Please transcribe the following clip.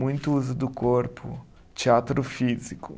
Muito uso do corpo, teatro físico.